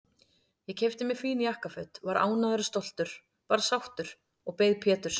Ég keypti mér fín jakkaföt, var ánægður og stoltur, bara sáttur, og beið Péturs.